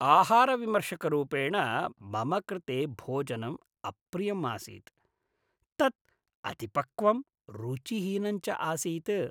आहारविमर्शकरूपेण मम कृते भोजनं अप्रियम् आसीत्। तत् अतिपक्वं रुचिहीनं च आसीत्।